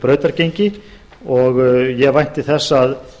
brautargengi ég vænti þess að